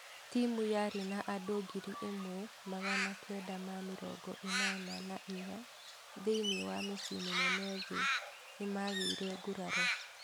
Timu yaarĩ na andũ ngiri ĩmwe magana kenda ma mĩrongo ĩnana na inya thĩinĩ wa mĩcii minene thĩĩ nĩmagĩire nguraro